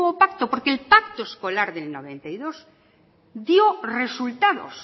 pacto porque el pacto escolar del noventa y dos dio resultados